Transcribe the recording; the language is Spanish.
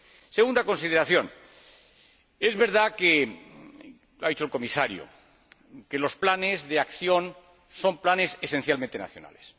Segunda consideración es verdad que —ha dicho el Comisario— los planes de acción son planes esencialmente nacionales.